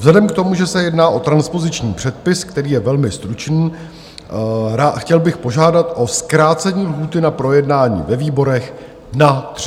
Vzhledem k tomu, že se jedná o transpoziční předpis, který je velmi stručný, chtěl bych požádat o zkrácení lhůty na projednání ve výborech na 30 dní.